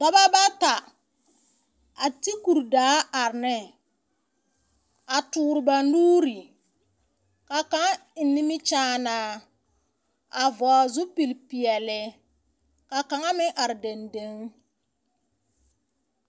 Dͻbͻ bata a te kuri daa are ne, a toore ba nuuri, ka kaŋa eŋ nimikyaanaa. A vͻgele zupili peԑle, ka kaŋa meŋ are dendeŋ.